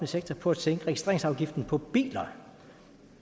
sektor på at sænke registreringsafgiften på biler